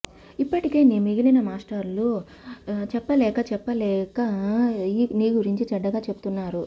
ఇప్పటికే నీ మిగిలిన మాస్టర్లు చెప్పలేక చెప్పలేక నీ గురించి చెడ్డగా చెబుతున్నారు